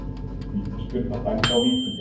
Vítaspyrna dæmd á Víkinga